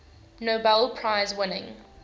nobel prize winning